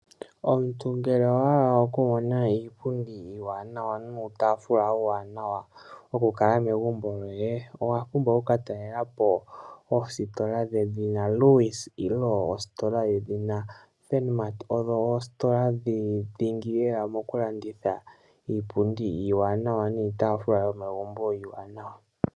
Omuntu ngele owahala okumona iipundi iiwanawa nuutaafula uuwanawa wo kukala megumbo lyoye , owapumbwa okukatalelapo oositola dhedhina Lewis nenge ositola Furniture, odho oositola dhingi mokukanditha iipundi niitaafula yomegumbo iiwanawa.